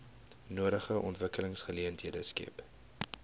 nodige ontwikkelingsgeleenthede skep